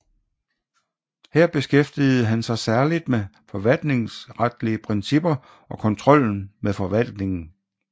Her beskæftigede han sig særligt med forvaltningsretlige principper og kontrollen med forvaltningen